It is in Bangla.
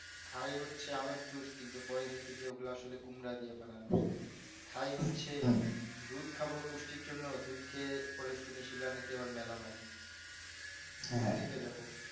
খাই হচ্ছে আমের juice কিন্তু পরে দেখি আসলে কুমড়ো দিয়া বানানো হয়েছে খাই হচ্ছে দুধ খাবো পুষ্টির জন্য দুধ খেয়ে পরে শুনি সেগুলা নাকি আবার malamine থেকে যাবো